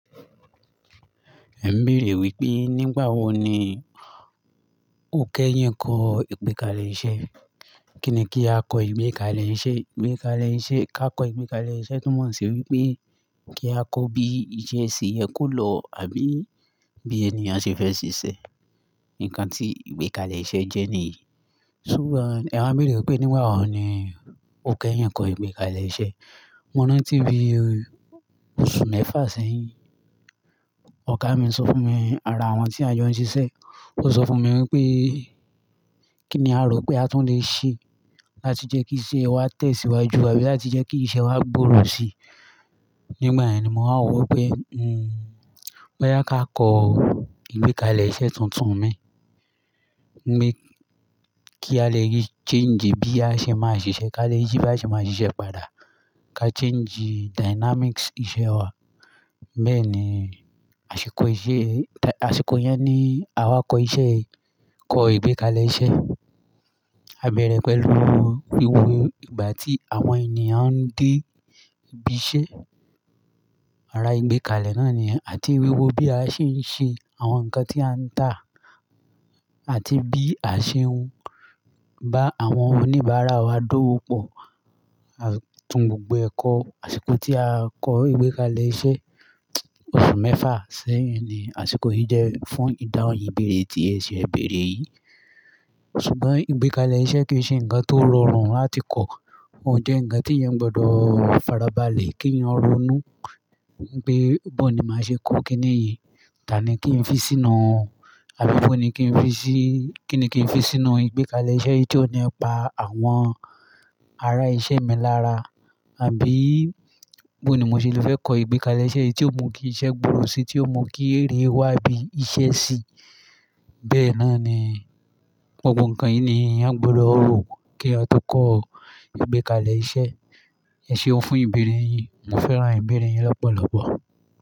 Ẹ ń bèèrè wípé nígbà wo ni ó kẹ́ yín kọ ìgbékalẹ̀ iṣẹ́? Kí ni kí a kọ ìgbékalẹ̀ iṣẹ́, ìgbékalẹ̀ iṣẹ́, ká kọ ìgbékalẹ̀ iṣẹ́ tumọ̀ sí wípé kí a kọ bí iṣẹ́ sì yẹ kó lọ àbí bí ènìyàn ṣe fẹ́ ṣiṣẹ́. Ǹkan tí ìgbékalẹ̀ iṣẹ́ jẹ́ nìyí. Ṣùgbọ́n ẹwa bèèrè wípé nígbà wo ni ó kẹ́ yín kọ ìgbékalẹ̀ iṣẹ́? Mo rántí bí oṣù mẹ́fà sẹ́yìn oga mi sọ fún mi ara àwọn tí a jọ ń ṣiṣẹ́, ó sọ fún mi wípé kín ní a rò pé a tún lè ṣe láti jẹ́ kí iṣẹ́ wa tẹ̀síwájú àbí láti jẹ́ kí iṣẹ́ wa gbòòrò sí i. Nígbà yẹn ni mo máa rò wípé, hmm, pé á ká kọ ìgbékalẹ̀ iṣẹ́ tuntun mi. Mi kí a lè rí change bí a ṣe máa ṣiṣẹ́, ká lè yi bí a ṣe máa ṣiṣẹ́ padà, ká change dynamics iṣẹ́ wa. Bẹ́ẹ̀ ni àsìkò iṣẹ́, àṣìkò yẹn ni àwa kọ iṣẹ́ yìí, kọ ìgbékalẹ̀ iṣẹ́. A bẹ̀rẹ̀ pẹ̀lú wíwo ìgbà tí àwọn ènìyàn ń dé ibi iṣẹ́, ara ìgbékalẹ̀ náà ni àti wíwo bí a ṣe ń ṣe àwọn nǹkan tí a ń tà àti bí a ṣe ń bá àwọn oníbàárà wa dówòpọ̀. À tún gbogbo ẹ̀kọ́ àsìkò tí a kọ ìgbékalẹ̀ iṣẹ́, oṣù mẹ́fà sẹ́yìn ni àsìkò yìí jẹ́ fún ìdáhùn ìbéèrè tí ẹ ṣe ẹ̀ béèrè yìí. Ṣùgbọ́n ìgbékalẹ̀ iṣẹ́ kì í ṣe ǹkan tó rọrùn láti kọ̀. Ó jẹ́ ǹkan tí èèyàn gbọdọ̀ farabalẹ̀ kí èèyàn ronú pé bó ni màá ṣe kó kíni yìí, tà ní kí n fi sínú òún, àbí bó ni kí n fi sí, kí ni kí n fi sínú ìgbékalẹ̀ iṣẹ́ yìí tí ó nípa àwọn ará iṣẹ́ mi lára, àbí bó ni mo ṣe lè fẹ́ kọ ìgbékalẹ̀ iṣẹ́ yìí tí ó mú kí iṣẹ́ gbòòrò sí i, tí ó mú kí èrè wá bí iṣẹ́ sí i. Bẹ́ẹ̀ náà ni gbogbo ǹkan yìí ni èèyàn gbọdọ̀ rò kí eeyan tó kọ ìgbékalẹ̀ iṣẹ́. Ẹ ṣeun fún ìbéèrè yín? Mo fẹ́ràn ìbéèrè yín lọ́pọ̀lọ́pọ̀.